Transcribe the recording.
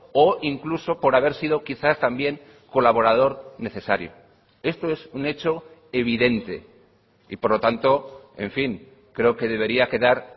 o incluso por haber sido quizás también colaborador necesario esto es un hecho evidente y por lo tanto en fin creo que debería quedar